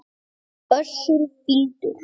Össur fýldur.